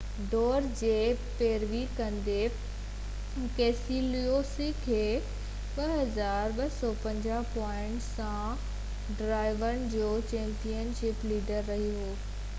ڊوڙ جي پيروي ڪندي، ڪيسيلسوڪي 2،250 پوائنٽن سان ڊرائيورن جو چيمپين شپ ليڊر رَهي ٿو